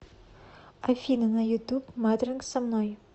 афина на ютуб матранг со мной